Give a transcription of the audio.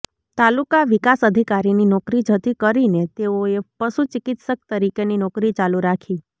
તાલુકા વિકાસ અધિકારીની નોકરી જતી કરીને તેઓએ પશુ ચિકિત્સક તરીકેની નોકરી ચાલુ રાખી